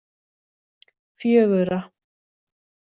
fjögurra